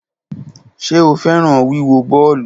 Ṣe o fẹran wiwo bọọlu?